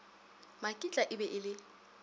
makitla e be e le